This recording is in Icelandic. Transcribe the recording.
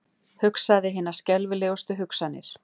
Hugsaði hinar skelfilegustu hugsanir.